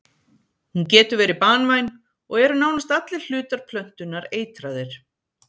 Hún getur verið banvæn og eru nánast allir hlutar plöntunnar eitraðir.